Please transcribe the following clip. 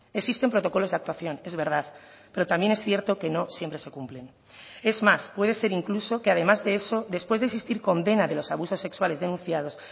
existen protocolos de actuación es verdad pero también es cierto que no siempre se cumplen es más puede ser incluso que además de eso después de existir condena de los abusos sexuales denunciados